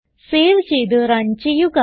save ചെയ്ത് run ചെയ്യുക